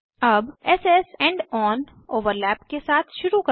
अब s S end on overlap के साथ शुरू करें